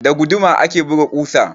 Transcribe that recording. Da guduma ake buga ƙusa.